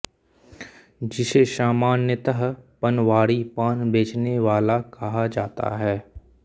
जिसे सामान्यतः पनवाड़ी पान बेचने वाला कहा जाता है